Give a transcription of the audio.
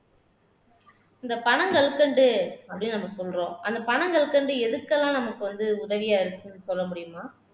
இந்த பனங்கற்கண்டு அப்படின்னு நம்ம சொல்றோம் அந்த பனங்கற்கண்டு எதுக்கெல்லாம் நமக்கு வந்து உதவியா இருக்குன்னு சொல்ல முடியுமா